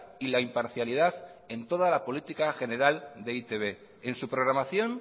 y la imparcialidad en toda la política general de e i te be en su programación